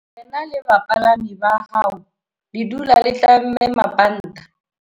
Wena le bapalami ba hao le dula le tlamme mabanta.